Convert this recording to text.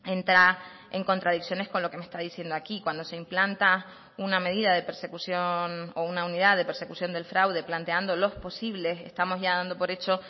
entra en contradicciones con lo que me está diciendo aquí cuando se implanta una medida de persecución o una unidad de persecución del fraude planteando los posibles estamos ya dando por hecho